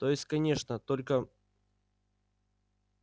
то есть конечно только